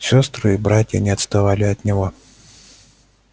сестры и братья не отставали от него